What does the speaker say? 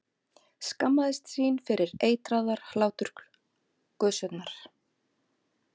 Skammaðist sín fyrir eitraðar hláturgusurnar.